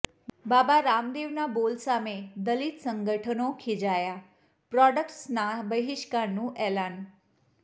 બાબા રામદેવના બોલ સામે દલિત સંગઠનો ખીજાયાઃ પ્રોડક્ટસના બહિષ્કારનું એલાન